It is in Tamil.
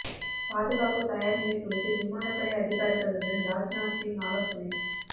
பாதுகாப்பு தயாா் நிலை குறித்து விமானப் படை அதிகாரிகளுடன் ராஜ்நாத் சிங் ஆலோசனை